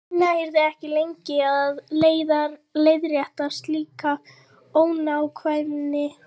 Ína yrði ekki lengi að leiðrétta slíka ónákvæmni.